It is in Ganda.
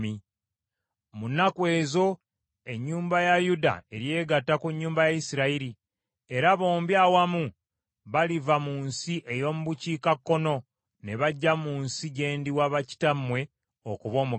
Mu nnaku ezo ennyumba ya Yuda eryegatta ku nnyumba ya Isirayiri, era bombi awamu baliva mu nsi ey’omu bukiikakkono ne bajja mu nsi gye ndiwa bakitammwe okuba omugabo.